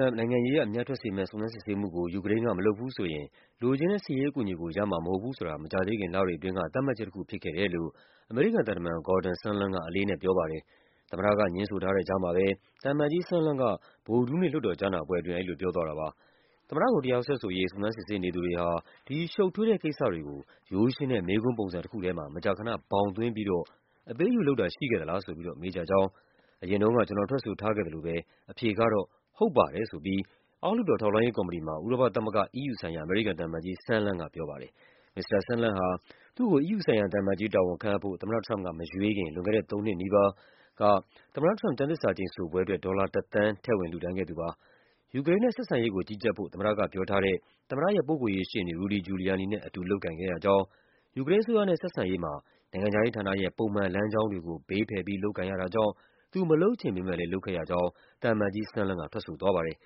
ပ် နိုင်ငံရေးအရ အမြတ်ထွက်စေမယ့် စုံစမ်းစစ်ဆေးမှု မလုပ်ဘူးဆိုရင် လိုချင်တဲ့ စစ်ရေးအကူအညီကို ရမှာမဟုတ်ဘူးဆိုတာ မကြာသေးခင် လတွေအတွင်းက သတ်မှတ်ချက်တခု ဖြစ်ခဲ့တယ်လို့ အမေရိကန် သံတမန် Gordon Sondland က အလေးအနက်ပြောပါတယ်။ သမ္မတက ငြင်းထားတဲ့ကြားမှာပဲ သံအမတ်ကြီး Sondland က ဗုဒ္ဓဟူးနေ့ လွှတ်တော်ကြားနာပွဲ အတွင်း ပြောသွားတာပါ။ သမ္မတကို တရားစွဲဆိုရေး စုံစမ်းစစ်ဆေးနေသူတွေဟာ ဒီရှုပ်ထွေးတဲ့ကိစ္စတွေကို ရိုးရှင်းတဲ့ မေးခွန်းပုံစံတခုထဲမှာ မကြာခန ဘောင်သွင်းပြီးတော့ အပေးအယူလုပ်တာ ရှိခဲ့သလားဆိုပြီး မေးကြကြောင်း၊ အရင်တုန်းက ကျနော် ထွက်ဆိုထားခဲ့သလိုပဲ အဖြေ ကတော့ ဟုတ်ပါတယ် ဆိုပြီး အောက်လွှတ်တော် ထောက်လှမ်းရေးကော်မတီမှာ ဥရောပသမဂ္ဂ EU ဆိုင်ရာ အမေရိကန် သံအမတ်ကြီး Sondland ကပြောပါတယ်။ မစ္စတာ Sondland ဟာ သူ့ကို EU ဆိုင်ရာသံအမတ်ကြီးတာဝန် ခန့်အပ်ဖို့ သမ္မတထရမ့်ပ်က မရွေးခင် လွန်ခဲ့တဲ့သုံးနှစ်နီးပါး သမ္မတထရမ့်ပ်က ကျမ်းသစ္စာကျိန်ဆိုပွဲအတွက် ဒေါ်လာ ၁ သန်း ထည့်ဝင် လှူဒါန်းခဲ့သူပါ။ ယူကရိန်းနဲ့ ဆက်ဆံရေးကို ကြီးကြပ်ဖို့ သမ္မတကပြောထားတဲ့ သမ္မတရဲ့ ပုဂ္ဂိုလ်ရေးရှေ့နေ Rudy Giuliani နဲ့ အတူလုပ်ကိုင်ခဲ့ရကြောင်း၊ ယူကရိန်းအစိုးရနဲ့ ဆက်ဆံရေး မှာ နိုင်ငံခြားရေးဌာနရဲ့ ပုံမှန်လမ်းကြောင်းတွေကို ဘေးဖယ်ပြီး လုပ်ကိုင်ရတာကြောင့် သူမလုပ်ချင်ပေမယ့်လည်း လုပ်ခဲ့ရ ကြောင်း သံအမတ်ကြီး Sondland က ထွက်ဆိုသွားပါတယ်